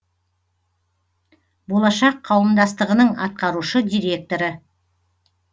болашақ қауымдастығының атқарушы директоры